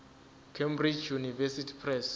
cambridge university press